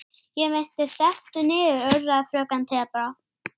Það á líka við núna.